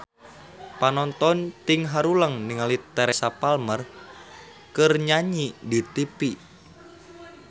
Panonton ting haruleng ningali Teresa Palmer keur nyanyi di tipi